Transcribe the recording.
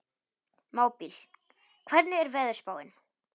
Mábil, hvernig er veðurspáin?